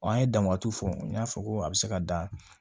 Wa an ye danbaat' fɔ n y'a fɔ ko a bɛ se ka dan